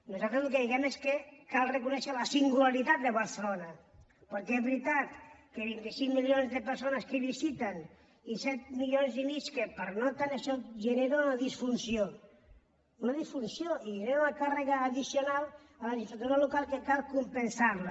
nosaltres el que diem és que cal reconèixer la singularitat de barcelona perquè és veritat que vint cinc milions de persones que la visiten i set milions i mig que hi pernocten això genera una disfunció una disfunció i genera una càrrega addicional a les infraestructures locals que cal compensar la